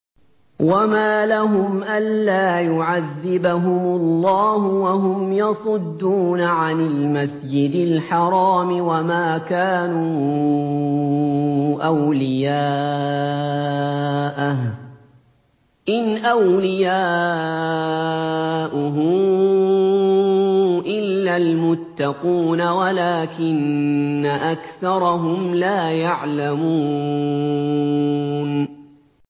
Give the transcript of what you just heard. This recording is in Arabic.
وَمَا لَهُمْ أَلَّا يُعَذِّبَهُمُ اللَّهُ وَهُمْ يَصُدُّونَ عَنِ الْمَسْجِدِ الْحَرَامِ وَمَا كَانُوا أَوْلِيَاءَهُ ۚ إِنْ أَوْلِيَاؤُهُ إِلَّا الْمُتَّقُونَ وَلَٰكِنَّ أَكْثَرَهُمْ لَا يَعْلَمُونَ